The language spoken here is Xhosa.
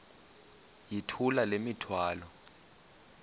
yithula le mithwalo